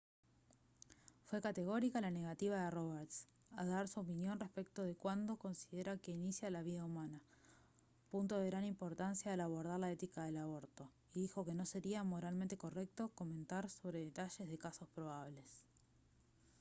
fue categórica la negativa de roberts a dar su opinión respecto de cuándo considera que inicia la vida humana punto de gran importancia al abordar la ética del aborto y dijo que no sería moralmente correcto comentar sobre detalles de casos probables